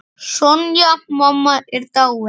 Sonja mamma er dáinn.